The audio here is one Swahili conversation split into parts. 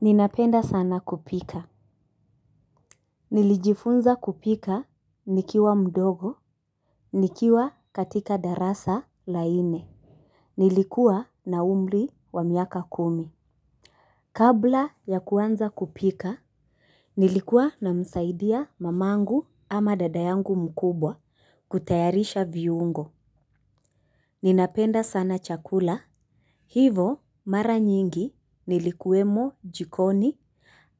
Ninapenda sana kupika. Nilijifunza kupika nikiwa mdogo. Nikiwa katika darasa la nne nilikuwa na umri wa miaka kumi. Kabla ya kuanza kupika nilikuwa namsaidia mama yangu ama dada yangu mkubwa kutayarisha viungo. Ninapenda sana chakula. Hivo mara nyingi nilikuwemo jikoni.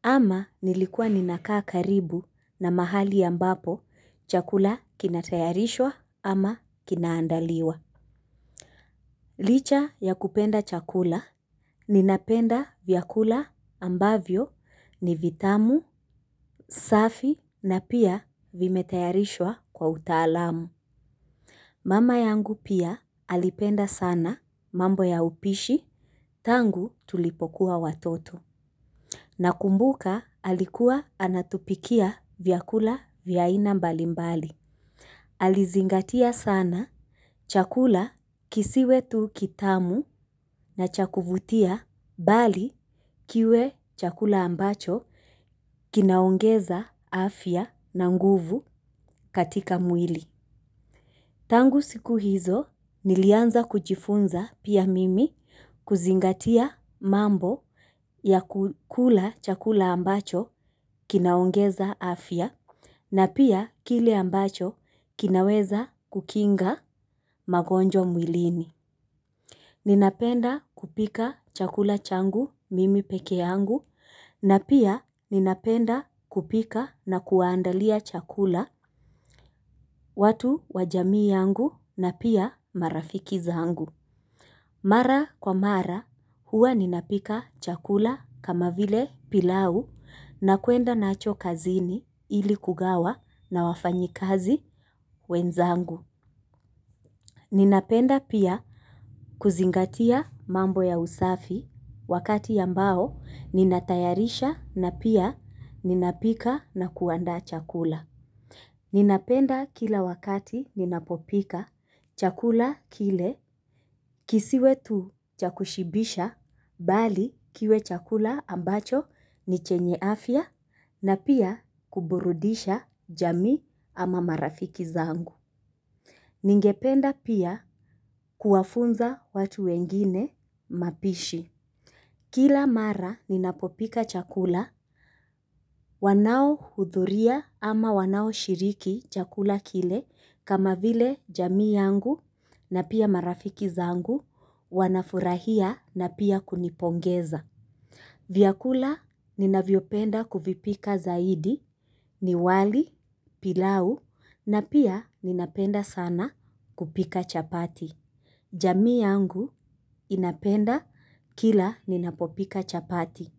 Ama nilikuwa ninakaa karibu na mahali ambapo chakula kinatayarishwa ama kinaandaliwa. Licha ya kupenda chakula ninapenda vyakula ambavyo ni vitamu, safi na pia vimetayarishwa kwa utaalamu. Mama yangu pia alipenda sana mambo ya upishi tangu tulipokuwa watoto. Nakumbuka alikuwa anatupikia vyakula vya aina mbalimbali. Alizingatia sana chakula kisiwe tu kitamu na chakuvutia bali kiwe chakula ambacho kinaongeza afya na nguvu katika mwili. Tangu siku hizo nilianza kujifunza pia mimi kuzingatia mambo ya kula chakula ambacho kinaongeza afya na pia kile ambacho kinaweza kukinga magonjwa mwilini. Ninapenda kupika chakula changu mimi peke yangu na pia ninapenda kupika na kuwaandalia chakula watu wajamii yangu na pia marafiki zangu. Mara kwa mara huwa ninapika chakula kama vile pilau na kwenda nacho kazini ili kugawa na wafanyikazi wenzangu. Ninapenda pia kuzingatia mambo ya usafi wakati ambao nina tayarisha na pia ninapika na kuandaa chakula. Ninapenda kila wakati ninapopika chakula kile kisiwe tu chakushibisha bali kiwe chakula ambacho nichenye afya na pia kuburudisha jamii ama marafiki zangu. Ningependa pia kuwafunza watu wengine mapishi. Kila mara ninapopika chakula, wanao hudhuria ama wanaoshiriki chakula kile kama vile jamii yangu na pia marafiki zangu, wanafurahia na pia kunipongeza. Vyakula ninavyopenda kuvipika zaidi ni wali, pilau na pia ninapenda sana kupika chapati. Jamii yangu inapenda kila ninapopika chapati.